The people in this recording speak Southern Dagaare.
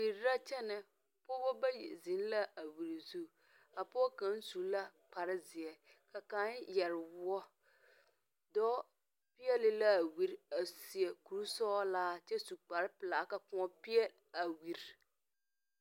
Wiri na kyene pɔgba bayi zeng la a wiri zu ka poɔ kang su la kpare zeɛ ka kang yere wuo doɔ peele la a wiri a seɛ kuri sɔglaa kye su kpare pelaa ka kuɔ̃ peele a wiri.